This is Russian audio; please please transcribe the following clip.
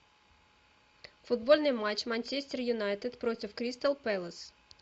футбольный матч манчестер юнайтед против кристал пэлас